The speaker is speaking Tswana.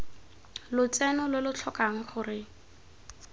lotseno lo lo tlhokang gore